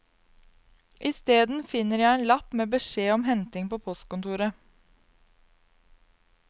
Isteden finner jeg en lapp med beskjed om henting på postkontoret.